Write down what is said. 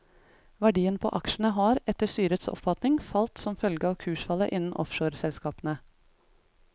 Verdien på aksjene har, etter styrets oppfatning, falt som følge av kursfallet innen offshoreselskapene.